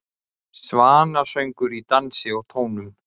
Svanasöngur í dansi og tónum